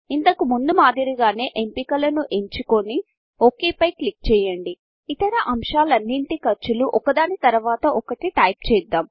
ఇంతకు ముందు మాదిరిగానే ఎంపికలను ఎంచుకోని ఒక్ పై క్లిక్ చేయండి ఇతర అంశాలనిటి ఖర్చులు ఒక దాని తరవాత ఒకటి టైప్ చేద్దాం